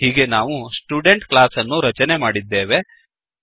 ಹೀಗೆ ನಾವು student class ಅನ್ನು ರಚನೆ ಮಾಡಿದ್ದೇವೆ